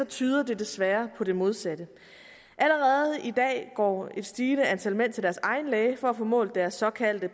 tyder det desværre på det modsatte allerede i dag går et stigende antal mænd til deres egen læge for at få målt deres såkaldte